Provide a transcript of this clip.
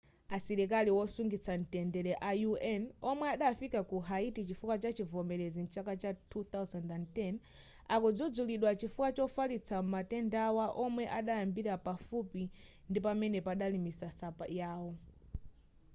asilikali wosungitsa mtendere a un omwe adafika ku haiti chifukwa chivomerezi chachaka cha 2010 akudzudzulidwa chifukwa chofalitsa matendawa omwe adayambira pafupi ndi pamene padali misasa yawo